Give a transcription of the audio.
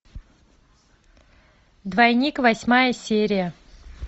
двойник восьмая серия